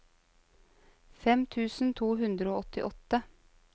fem tusen to hundre og åttiåtte